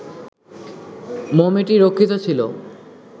মমিটি রক্ষিত ছিল